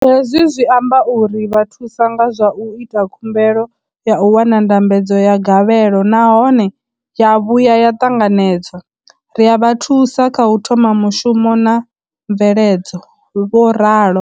Hezwi zwi amba uri ri vha thusa nga zwa u ita khumbelo ya u wana ndambedzo ya gavhelo nahone ya vhuya ya ṱanganedzwa, ri a vha thusa kha u thoma mushumo na mveledzo, vho ralo.